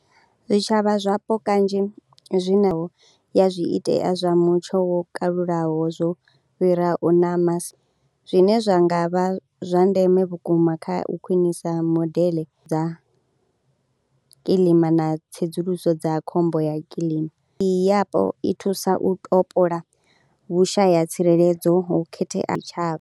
Zwitshavha zwapo kanzhi zwi naho na zwiitea zwa mutsho wo kalulaho zwo fhira u zwine zwa nga vha zwa ndeme vhukuma kha u khwinisa modeḽe dza kiḽima na tsedzuluso dza khombo ya kiḽima, i yapo i thusa u topola vhushaya tsireledzo ho khetheaho tshitshavha.